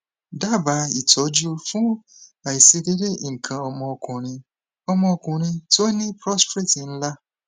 daba itoju fun aiṣedede ikan ọmọ ọkunrin ọmọ ọkunrin to ni prostrate nla